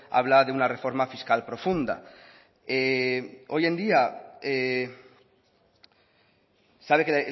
habla de una reforma fiscal profunda hoy en día sabe que